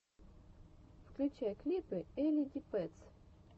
включай клипы элли ди пэтс